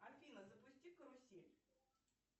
афина запусти карусель